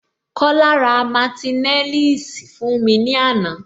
Kola ra martineliss fún mi ní ana